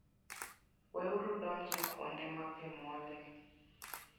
Weuru donjo e kuonde ma pi mol e.